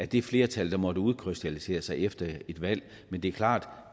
det flertal der måtte udkrystallisere sig efter et valg men det er klart at